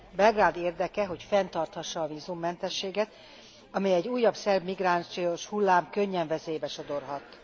Belgrád érdeke, hogy fenntarthassa a vízummentességet, amelyet egy újabb szerb migrációs hullám könnyen veszélybe sodorhat.